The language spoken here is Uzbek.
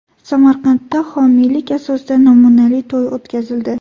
Samarqandda homiylik asosida namunali to‘y o‘tkazildi.